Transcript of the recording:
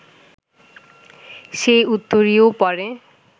সেই উত্তরীয় পরে